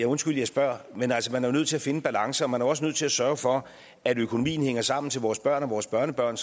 undskyld jeg spørger men altså nødt til at finde en balance og man er også nødt til at sørge for at økonomien hænger sammen for vores børn og vores børnebørn